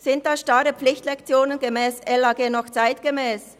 Sind starre Pflichtlektionen gemäss LAG noch zeitgemäss?